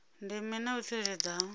ndeme na u tsireledzea ha